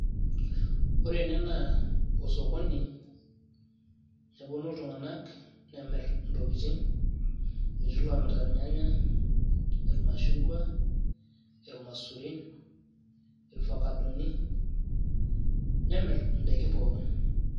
Ore ene naa osokoni, eponu iltung'anak nemir intokiting',etii lomirita irnyanya, irmashungwa, irmaisurin, irfakadoni, nemir idaiki pookin.